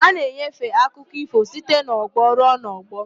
A na-enyefe akụkọ ífò site n'ọgbọ ruo n'ọgbọ.